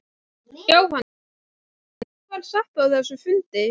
Jóhannes: En hvað var sagt á þessum fundi?